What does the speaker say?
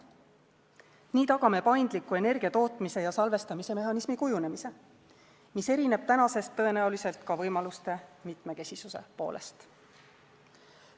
Nii tagame paindliku energia tootmise ja salvestamise mehhanismi kujunemise, mis erineb tänasest tõenäoliselt ka võimaluste mitmekesisuse poolest.